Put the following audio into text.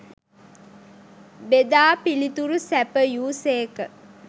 බෙදා පිළිතුරු සැපයූ සේක.